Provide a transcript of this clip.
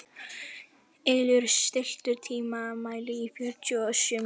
Ylur, stilltu tímamælinn á fjörutíu og sjö mínútur.